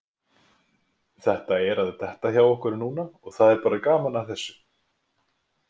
Þetta er að detta hjá okkur núna og það er bara gaman að þessu.